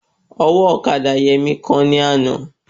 Ọwọ́ ọ̀kadà Yẹmí kán ní àná